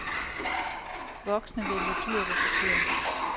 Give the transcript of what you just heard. Voksne vælger dyrt og forkert.